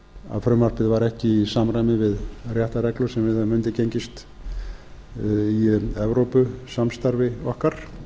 að frumvarpið var ekki í samræmi við réttarreglur sem við höfum undirgengist í evrópusamstarfi okkar